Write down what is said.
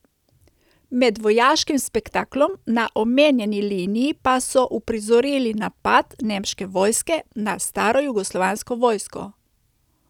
Med vojaškim spektaklom na omenjeni liniji pa so uprizorili napad nemške vojske na starojugoslovansko vojsko.